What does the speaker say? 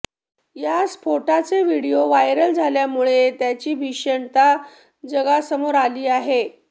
या स्फोटाचे video viral झाल्यामुळे त्याची भीषणता जगासमोर आली आहे